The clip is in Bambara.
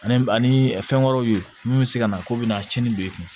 Ani ani fɛn wɛrɛw ye min be se ka na k'u bɛna tiɲɛni don i kun